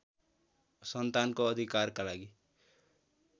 सन्तानको अधिकारका लागि